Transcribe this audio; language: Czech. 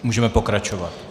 Můžeme pokračovat.